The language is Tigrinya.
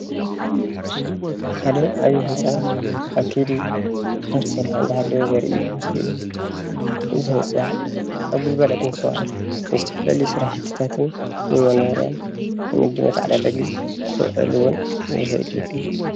ሓደ ዓብይ ህንፃ ኣብ ከይዲ እናተሰርሓ እንዳሃለወ ዘርኢ ምስሊ እዩ፡፡ እዚ ህንፃ ኣብ ግልጋሎት ምስ ወዓለ ንዝተፈላለዩ ስራሕትታትን ንሞኖርያን ንንግዲ መተዓዳደጊ ክውዕል እውን ይክእል እዩ፡፡